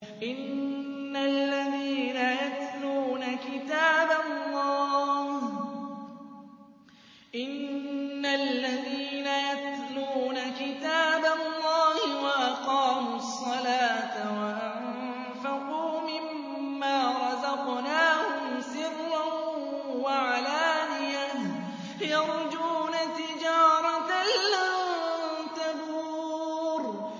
إِنَّ الَّذِينَ يَتْلُونَ كِتَابَ اللَّهِ وَأَقَامُوا الصَّلَاةَ وَأَنفَقُوا مِمَّا رَزَقْنَاهُمْ سِرًّا وَعَلَانِيَةً يَرْجُونَ تِجَارَةً لَّن تَبُورَ